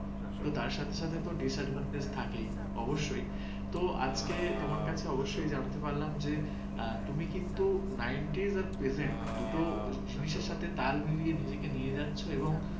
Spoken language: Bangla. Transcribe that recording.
তো আজকে তোমার কাছে অবশ্যই জানতে পারলাম যে, তুমি কিন্তু ninerypresent এবং বর্তমান দুটি জিনিসের সাথে তাল মিলিয়ে নিজেকে নিয়ে যাচ্ছে এবং